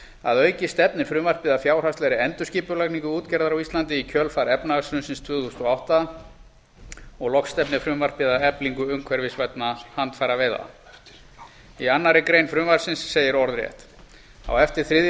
að auki stefnir frumvarpið að fjárhagslegri endurskipulagningu útgerðar á íslandi í kjölfar efnahagshrunsins tvö þúsund og átta loks stefnir frumvarpið að eflingu umhverfisvænna handfæraveiða í annarri grein frumvarpsins segir orðrétt á eftir þriðju